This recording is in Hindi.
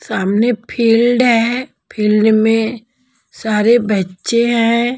सामने फील्ड है फील्ड में सारे बच्चे हैं।